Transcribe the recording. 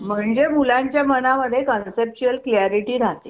Okay मग तेव्हा परत registration करावं लागत असं असत का?